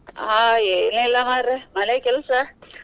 ಹಾ ಏನಿಲ್ಲ ಮರ್ರೆ ಮನೆ ಕೆಲ್ಸ.